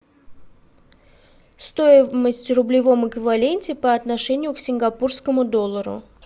стоимость в рублевом эквиваленте по отношению к сингапурскому доллару